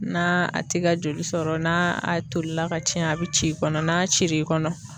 N'a ti ka joli sɔrɔ ,n'a a tolila ka ciɲɛ a bi ci i kɔnɔ ,n'a ciri kɔnɔ